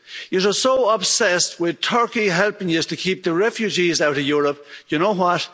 You are so obsessed with Turkey helping you to keep the refugees out of Europe, you know what?